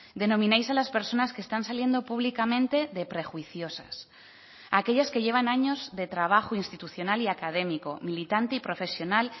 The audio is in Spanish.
denomináis a las personas que están saliendo públicamente de prejuiciosas aquellas que llevan años de trabajo institucional y académico militante y profesional